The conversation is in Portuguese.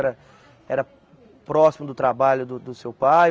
Era era próximo do trabalho do do seu pai?